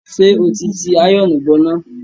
Ṣé ó ti ti àyọ̀ọ̀nù bọná?